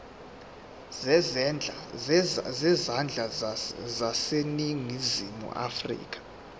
zezandla zaseningizimu afrika